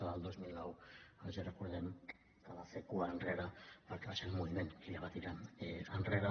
la del dos mil nou els ho recordem que va fer cua enrere perquè va ser el moviment qui la va tirar enrere